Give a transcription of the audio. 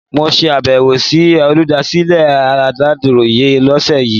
Mo ṣe abẹ̀wò sí olùdásílẹ̀ Aláròyé lọ́sẹ̀ yìí.